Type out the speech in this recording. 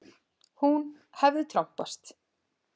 Hún hefði trompast.